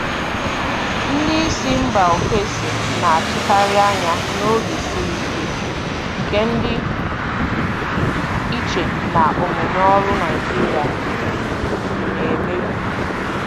Ndị isi mba ofesi na-atụkarị anya n'oge siri ike, nke dị iche na omume ọrụ Naijiria na-emebu.